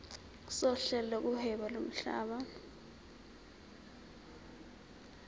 sohlelo lokuhweba lomhlaba